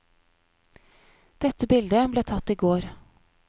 Dette bildet ble tatt i går.